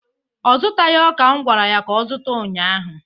ọ zụtaghị ọka m gwara ya ka ọ zụta ụnyahụ?